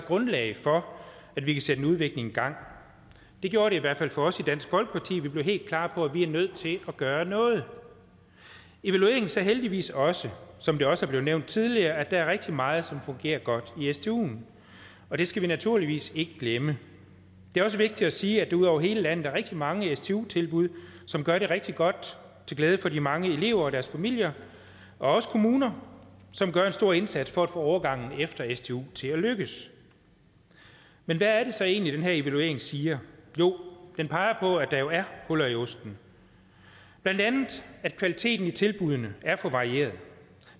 grundlag for at vi kan sætte en udvikling i gang det gjorde det i hvert fald for os i dansk folkeparti vi blev helt klar på at vi er nødt til at gøre noget evalueringen sagde heldigvis også som det også er blevet nævnt tidligere at der er rigtig meget som fungerer godt i stuen og det skal vi naturligvis ikke glemme det er også vigtigt at sige at der ud over hele landet er rigtig mange stu tilbud som gør det rigtig godt til glæde for de mange elever og deres familier og også kommuner som gør en stor indsats for at få overgangen efter stu til at lykkes men hvad er det så egentlig den her evaluering siger jo den peger på at der jo er huller i osten blandt andet at kvaliteten i tilbuddene er for varierede